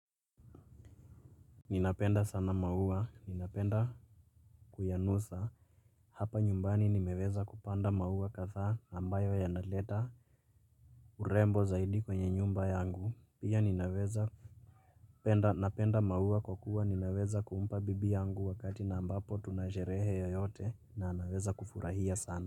Ninapenda sana maua. Ninapenda kuyanusa. Hapa nyumbani nimeweza kupanda maua kadhaa ambayo yanaleta. Urembo zaidi kwenye nyumba yangu. Pia ninaweza napenda maua kwa kuwa ninaweza kumpa bibi yangu wakati na ambapo tuna sherehe yeyote na anaweza kufurahia sana.